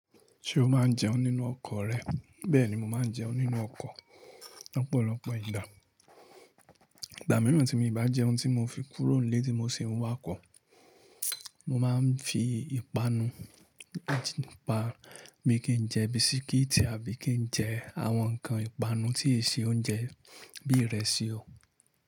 Ṣé o máa ń jẹun nínú ọkọ̀ rẹ? Bẹ́ẹ̀ni, mo máa ń jẹun nínú ọkọ̀ lọ́pọ̀lọpọ̀ ìgbà. Ìgbà mìíràn tí mi bá jẹun tí mo fi kúrò níé tí mo sì ń wá kọ̀, mo máa ń fi ìpanu, àti ìpanu mi kí n jẹ bisikíìtì àbí kí n jẹ àwọn nǹkan ìpanu tí e ṣe oúnjẹ bí ìrẹsì o.